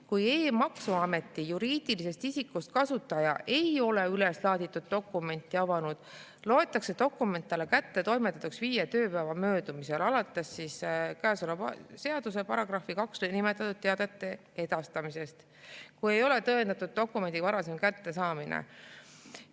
Kui e-maksuameti juriidilisest isikust kasutaja ei ole üleslaaditud dokumenti avanud, loetakse dokument talle kättetoimetatuks viie tööpäeva möödumisel arvates käesoleva seaduse §‑s 2 nimetatud teate edastamisest, kui ei ole tõendatud dokumendi varasem kättesaamine.